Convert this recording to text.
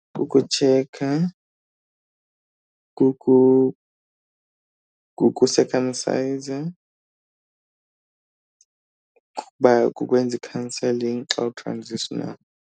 Kukutshekha, kukusekhamsayiza, kukuba kukwenza i-counselling xa .